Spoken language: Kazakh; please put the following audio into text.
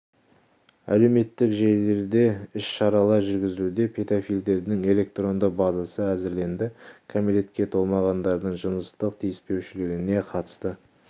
әлеуметтік желілерде де іс-шаралар жүргізілуде педофилдердің электронды базасы әзірленді кәмелетке толмағандардың жыныстық тиіспеушілігіне қатысты